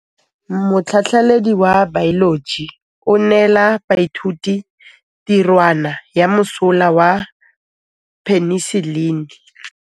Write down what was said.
Motlhatlhaledi wa baeloji o neela baithuti tirwana ya mosola wa peniselene.